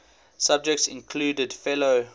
subjects included fellow